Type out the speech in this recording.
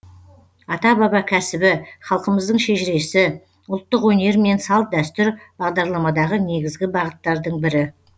ата баба кәсібі халқымыздың шежіресі ұлттық өнер мен салт дәстүр бағдарламадағы негізгі бағыттардың бірі